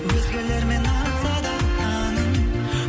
өзгелермен атса да таңың